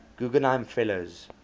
guggenheim fellows